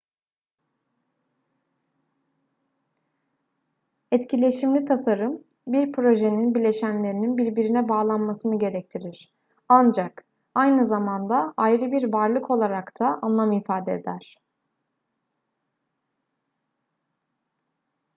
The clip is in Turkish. etkileşimli tasarım bir projenin bileşenlerinin birbirine bağlanmasını gerektirir ancak aynı zamanda ayrı bir varlık olarak da anlam ifade eder